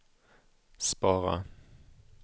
spara